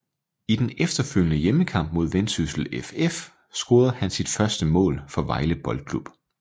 I den efterfølgende hjemmekamp mod Vendsyssel FF scorede han sit første mål for Vejle Boldklub